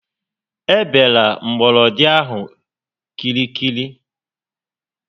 E bela gbọrọndị ahụ kịrịkịrị